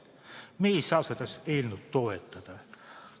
Me ei saa seda eelnõu toetada.